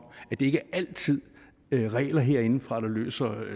at det ikke altid er regler herindefra der løser